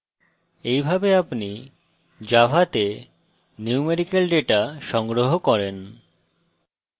এইভাবে আপনি জাভাতে ন্যূমেরিকাল ডেটা সংগ্রহ করেন